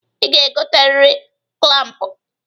I ga-egoteriri klampụ.